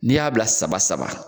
N'i y'a bila saba saba